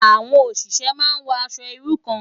Awòn óṣiṣè má n wò aṣò irú kàn